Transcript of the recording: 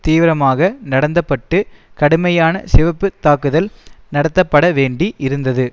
தீவிரமாக நடந்தப்பட்டு கடுமையான சிவப்பு தாக்குதல் நடத்தப்படவேண்டி இருந்தது